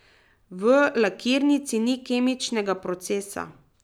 V lakirnici ni kemičnega procesa.